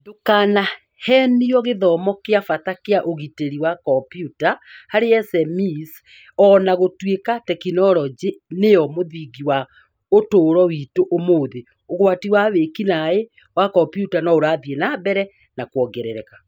Ndũkaaheenio :gĩthomo kĩa bata kĩa ũgitĩri wa kompiuta harĩ SMEs O na gũtuĩka tekinoronjĩ nĩyo mũthingi wa ũtũũro witũ ũmũthĩ, ũgwati wa wĩki-naĩ wa komputa no ũrathiĩ na mbere na kuongerereka